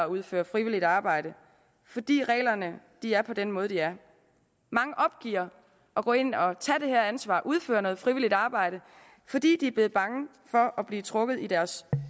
udføre frivilligt arbejde fordi reglerne er på den måde de er mange opgiver at gå ind og tage det her ansvar udføre noget frivilligt arbejde fordi de er blevet bange for at blive trukket i deres